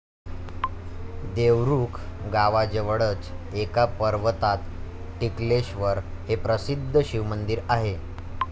देवरुख गावाजवळच एका पर्वतात टिकलेश्वर हे प्रसिद्ध शिवमंदिर आहे.